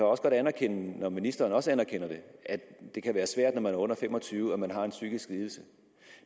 også godt anerkende når ministeren også anerkender det at det kan være svært når man er under fem og tyve år en psykisk lidelse